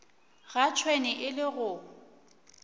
ga tšhwene e le go